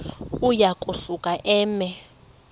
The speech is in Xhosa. uya kusuka eme